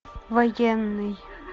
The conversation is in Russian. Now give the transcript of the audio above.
военный